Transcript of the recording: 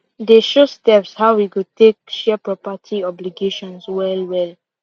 they show steps how we go take share property obligations well well